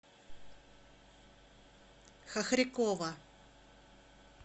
хохрякова